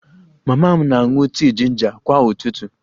Mama m na-aṅụ tii jinja kwa ụtụtụ